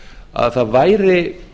að það væri